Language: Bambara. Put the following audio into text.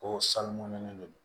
O sanunen do